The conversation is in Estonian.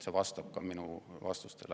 See vastab ka minu vastustele.